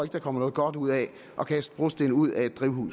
der kommer noget godt ud af at kaste brosten ud af et drivhus